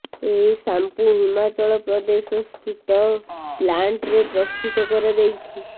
ଏହି ସାମ୍ପୁ ହିମାଚଳପ୍ରଦେଶ ସ୍ଥିିତ ପ୍ଲାଣ୍ଟ୍ ରେ ପ୍ରସ୍ତୁତ କରାଯାଇଛି